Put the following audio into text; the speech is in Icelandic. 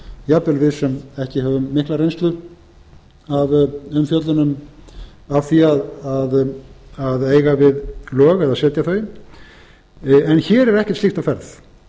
jafnvel við sem ekki höfum mikla reynslu af umfjöllun af því að eiga við lög eða setja þau en hér er ekkert slíkt á ferð